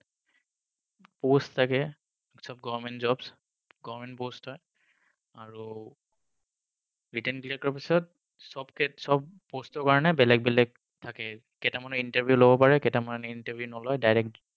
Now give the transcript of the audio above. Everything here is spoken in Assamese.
Post থাকে, সব government jobs, government post হয় আৰু written clear কৰাৰ পিছত চব post ৰ কাৰণে বেলেগ বেলেগ থাকে কেইটামানৰ interview লব পাৰে কেইদিনমান interview নলয় direct